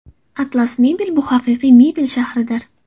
Atlas Mebel – bu haqiqiy mebel shahridir.